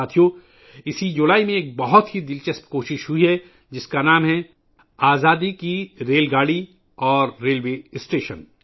ساتھیو ، اسی جولائی میں ایک بہت ہی دلچسپ کوشش کی گئی ہے، جس کا نام ہے ، آزادی کی ریل گاڑی اور ریلوے اسٹیشن